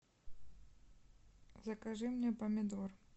закажи мне помидор